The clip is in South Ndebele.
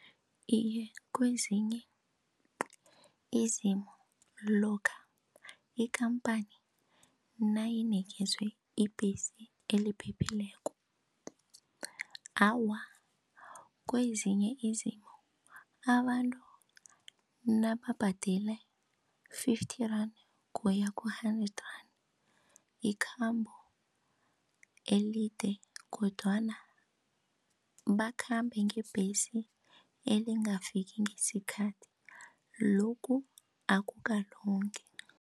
Iye, kwezinye izimo lokha ikhamphani nayinikezwe ibhesi eliphephileko. Awa, kwezinye izimo abantu nababhadela-fifty rand kuya ku-hundred yikhambo elide kodwana bakhambe ngebhesi elingafiki ngesikhathi, lokhu akukalungi.